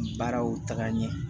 Baaraw taga ɲɛ